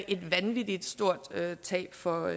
et vanvittig stort tab for